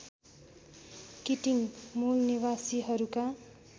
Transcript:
Keating मूलनिवासीहरूका